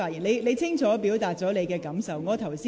你已清楚表達你的感受。